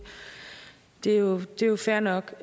er jo jo fair nok